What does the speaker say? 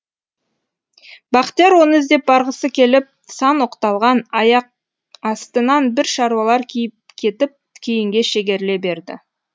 бақтияр оны іздеп барғысы келіп сан оқталған аяқастынан бір шаруалар киіп кетіп кейінге шегеріле берді